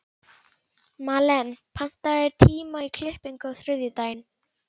Malen, pantaðu tíma í klippingu á þriðjudaginn.